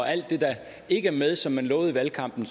er alt det der ikke er med men som man lovede i valgkampen